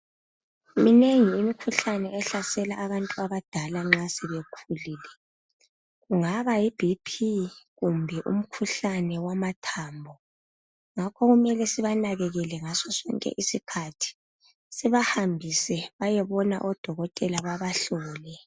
Minengi imkhuhlane ehlasela abantu abadala nxa sebekhulile kungaba Yi BP kumbe umkhuhlane wamathambo ngakho kumele sibanakekele ngaso sonke isikhathi sibahambise bayebona odokotela babahlole